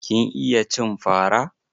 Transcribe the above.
Kin iya cin fa ra?